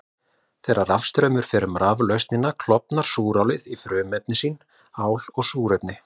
Þegar rafstraumur fer um raflausnina klofnar súrálið í frumefni sín, ál og súrefni.